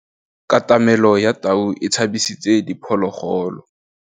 Katamêlô ya tau e tshabisitse diphôlôgôlô.